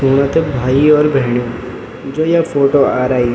सुणा त भाई और भेणीयो जो ये फोटो आ रही --